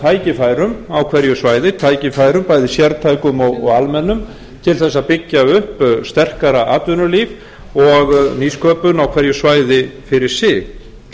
tækifærum á hverju svæði tækifærum bæði sértækum og almennum til að byggja upp sterkara atvinnulíf og nýsköpun á hverju svæði fyrir sig